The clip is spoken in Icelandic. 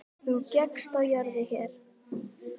Þú gekkst á jörðu hér.